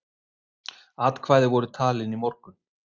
Atkvæði voru talin í morgun.